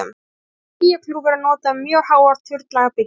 Hugtakið skýjakljúfur er notað um mjög háar turnlaga byggingar.